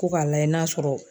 Ko k'a lajɛ n'a sɔrɔ